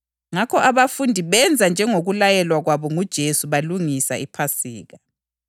Ngakho abafundi benza njengokulayelwa kwabo nguJesu balungisa iPhasika.